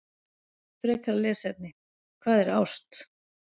Frekara lesefni: Hvað er ást?